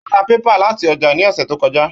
Ó ra pépà láti ọjà ní ọ̀sẹ̀ tó kọjá